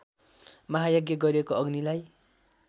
महायज्ञ गरिएको अग्नीलाई